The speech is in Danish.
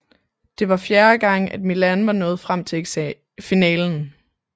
Det var fjerde gang at Milan var nået frem til finalen